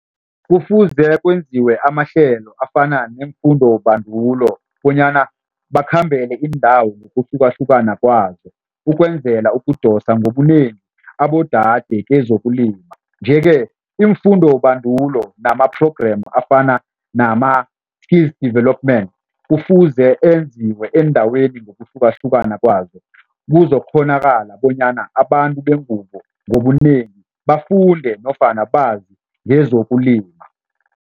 Kufuze kwenziwe amahlelo afana neemfundobandulo bonyana bakhambele iindawo ngokuhlukahlukana kwazo ukwenzela ukudosa ngobunengi abodade kwezokulima nje-ke iimfundobandulo nama-program afana development kufuze enziwe eendaweni ngokuhlukahlukana kwazo, kuzokukghonakala bonyana abantu bengubo ngobunengi bafunde nofana bazi ngezokulima.